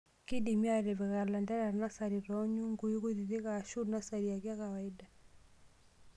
Keidimi aatipiki lanterera nasari too nyungui kutitk aashu nasari ake e kawaida.